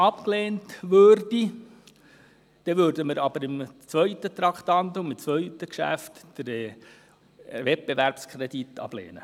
der BaK. Würde der Rückweisungsantrag abgelehnt, würden wir den Wettbewerbskredit ablehnen.